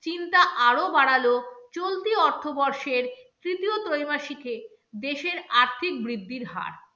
চিন্তা আরো বাড়ালো চলতি অর্থবর্ষের তৃতীয় ত্রৈমাসিকে দেশের আর্থিক বৃদ্ধির হার।